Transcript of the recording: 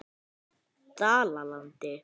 Dalalandi